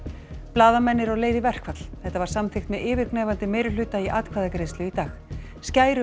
blaðamenn eru á leið í verkfall þetta var samþykkt með yfirgnæfandi meirihluta í atkvæðagreiðslu í dag